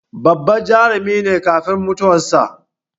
Babban Jarumi ne kafin mutuwar sa